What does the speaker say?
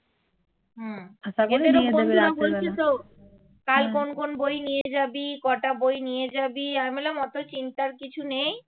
কোন কোন বই নিয়ে যাবি কটা বই নিয়ে যাবি অত চিন্তার কিছু নেই